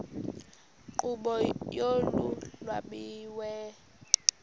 nkqubo yolu lwabiwo